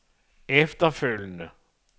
efterfølgende